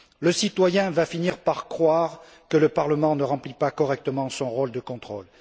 Le citoyen va finir par croire que le Parlement ne remplit pas correctement son rôle de contrôle.